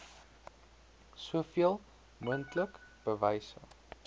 soveel moontlik bewyse